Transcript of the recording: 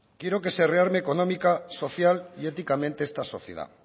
quiero que se rearme económica social y éticamente esta sociedad